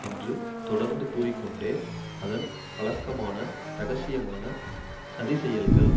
என்று தொடர்ந்து கூறிக்கொண்டே அதன் வழக்கமான ரகசியமான சதிச் செயல்கள்